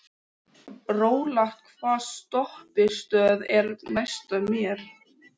Rólant, hvaða stoppistöð er næst mér?